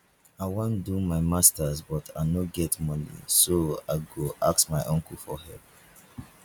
i wan do my masters but i no get money so i go ask my uncle for help